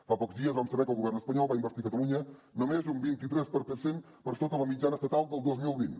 fa pocs dies vam saber que el govern espanyol va invertir a catalunya només un vint tres per cent per sota la mitjana estatal del dos mil vint